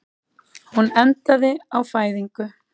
Hún endaði á fæðingu.